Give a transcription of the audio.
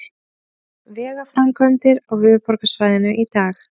Vegaframkvæmdir á höfuðborgarsvæðinu í dag